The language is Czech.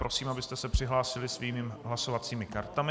Prosím, abyste se přihlásili svými hlasovacími kartami.